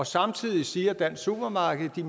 samtidig siger dansk supermarked at de